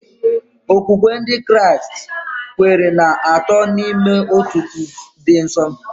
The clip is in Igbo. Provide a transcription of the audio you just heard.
Okwukwe Ndị Kraịst kwere na Atọ n'Ime Otu dị nsọ.